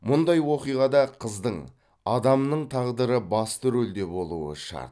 мұндай оқиғада қыздың адамның тағдыры басты рөлде болуы шарт